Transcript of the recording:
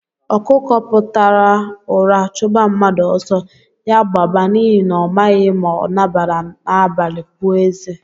Okuko puta ụra chuba mmadụ ọsọ, ya gbaba n'ihi na ọ maghị ma ọ nabaara n'abalị pụọ eze.